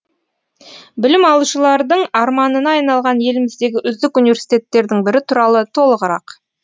білім алушылардың арманына айналған еліміздегі үздік университеттердің бірі туралы толығырақ